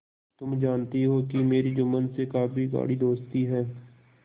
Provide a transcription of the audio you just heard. तुम जानती हो कि मेरी जुम्मन से गाढ़ी दोस्ती है